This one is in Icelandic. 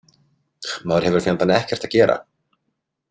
Maður hefur fjandann ekkert að gera.